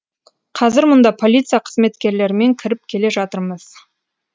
қазір мұнда полиция қызметкерлерімен кіріп келе жатырмыз